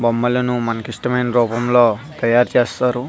బొమ్మలని మనకి ఆయన రూపం లో తాయారు చేస్తారు.